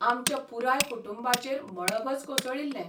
आमच्या पुराय कुटुंबाचेर मळभच कोसळिल्लें.